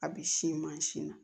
A bi sin mansin na